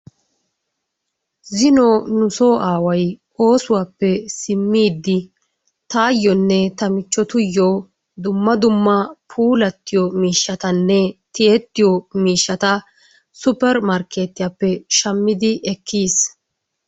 Zino nusoo aaway oosuwappe simmiidi taayonne tamichchottuyoo dumma dumma puulayiyo miishshatanne tiyettiyo miishshata supper markkeetiyappe shammidi ekkiyiis.